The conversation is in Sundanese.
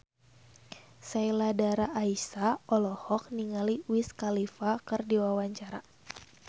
Sheila Dara Aisha olohok ningali Wiz Khalifa keur diwawancara